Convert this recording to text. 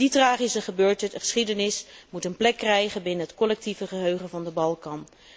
Die tragische geschiedenis moet een plek krijgen binnen het collectieve geheugen van de Balkan.